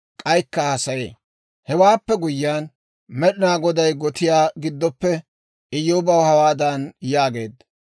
Hewaappe guyyiyaan, Med'inaa Goday gotiyaa giddoppe Iyyoobaw hawaadan yaageedda;